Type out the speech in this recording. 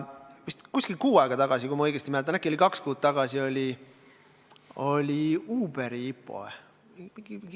Vist umbes kuu aega tagasi, kui ma õigesti mäletan – äkki oli kaks kuud tagasi –, oli Uberi IPO.